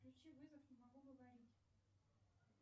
включи вызов не могу говорить